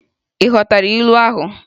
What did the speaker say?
ị ghọtara ilu ahụ?